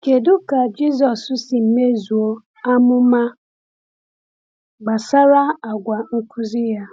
Kedu ka Jisọs si mezuo amụma gbasara àgwà nkuzi ya?